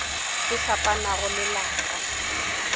e fapanago le la ka